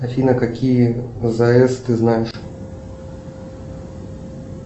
афина какие азс ты знаешь